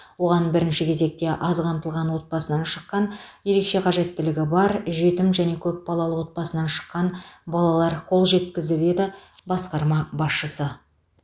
оған бірінші кезекте аз қамтылған отбасынан шыққан ерекше қажеттілігі бар жетім және көпбалалы отбасынан шыққан балалар қол жеткізді деді басқарма басшысы